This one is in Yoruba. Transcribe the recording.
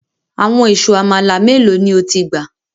Àwọn ìṣù amala melo ni o ti gba?